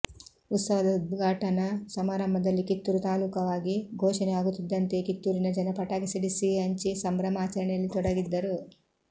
ಉತ್ಸವದ ಉದ್ಘಾಟನಾ ಸಮಾರಂಭದಲ್ಲಿ ಕಿತ್ತೂರು ತಾಲೂಕವಾಗಿ ಘೋಷಣೆ ಆಗುತ್ತಿದ್ದಂತೆಯೇ ಕಿತ್ತೂರಿನ ಜನ ಪಟಾಕಿ ಸಿಡಿಸಿ ಸಿಹಿ ಹಂಚಿ ಸಂಭ್ರಮಾಚರಣೆಯಲ್ಲಿ ತೊಡಗಿದ್ದರು